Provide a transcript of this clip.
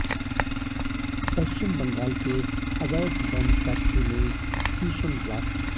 पश्चिम बंगाल के अवैध bomb factory में भीषण ब्लास्ट